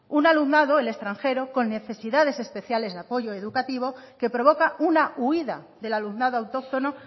un alumnado el extranjero con necesidades especiales de apoyo educativo que provoca una huida del alumnado autóctono